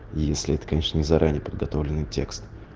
если это конечно не заранее подготовленный текст